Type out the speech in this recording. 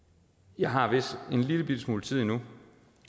jeg har vist en lillebitte smule tid endnu